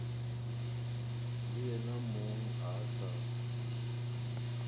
le yena mong a sa